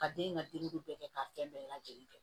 Ka den in ka denko bɛɛ kɛ k'a fɛn bɛɛ lajɛlen kɛ